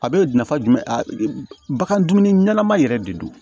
A bɛ nafa jumɛn bagan ɲɛnama yɛrɛ de don